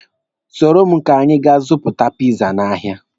Soro m ka anyị ga zụta piza n'ahịa.